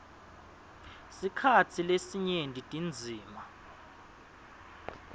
sikhatsi lesinyenti tindzima